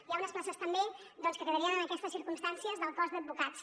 hi ha unes places també que quedarien en aquestes circumstàncies del cos d’advocats